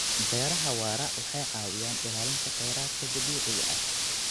Beeraha waara waxay caawiyaan ilaalinta khayraadka dabiiciga ah.